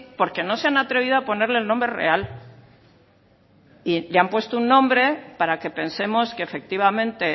porque no se han atrevido a ponerle el nombre real y le han puesto un nombre para que pensemos que efectivamente